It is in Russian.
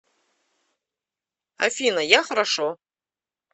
афина я хорошо